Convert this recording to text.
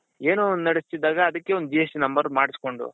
ಏನೋ ಒಂದ್ ನೆಡ್ದೆಸ್ತಿದಗಾ ಅದಕ್ಕೆ ಒಂದ್ GST number ಮಾಡ್ಸ್ಕೊಂಡು,